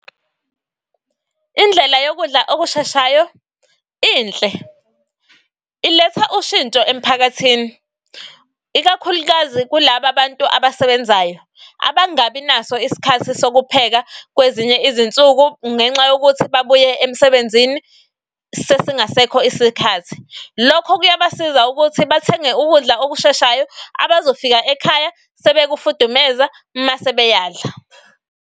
Indlela yokudla okusheshayo inhle iletha ushintsho emphakathini. Ikakhulukazi kulaba bantu abasebenzayo abangabi naso isikhathi sokupheka kwezinye izinsuku ngenxa yokuthi babuye emsebenzini sekungasekho isikhathi. Lokho kuyabasiza ukuthi bathenge yokudla okusheshayo abazofika ekhaya sebekufudumeza mase beyadla.